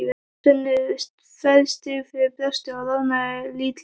Svenni fær sting fyrir brjóstið og roðnar lítillega.